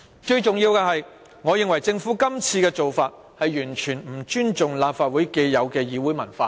最重要的是，我認為政府今次的做法完全不尊重立法會既有的議會文化。